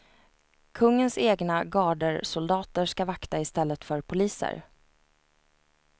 Kungens egna garderssoldater ska vakta istället för poliser.